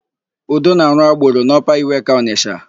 Udo na-arụ agboro n'Ọpa Iweka Ọnịsha.